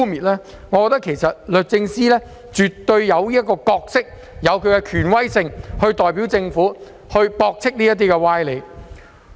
律政司絕對有其角色及權威，可代表政府作出駁斥。